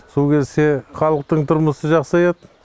су келсе халықтың тұрмысы жақсаяды